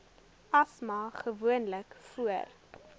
asma gewoonlik voor